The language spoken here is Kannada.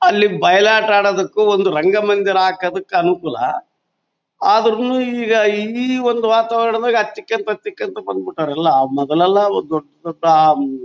ಅಲ್ಲಿ ಬಯಲಾಟ ಆಡೋದಕ್ಕೂ ಒಂದ್ ರಂಗ ಮಂದಿರ ಹಾಕೋದಕ್ಕೂ ಅನುಕೂಲ. ಆದ್ರೂ ಒಂದು ಈಗ ಈ ಒಂದು ವಾತಾವರಣದಾಗ ಬಂದ್ಬಿಟ್ಟಿದಾರೆಲ್ಲ್ಲಾ ಮೊದಲೆಲ್ಲಾ ಒಂದ್ ದೊಡ್ಡ್ ದೊಡ್ಡ್ ಅಹ್ ಹ್ಮ್--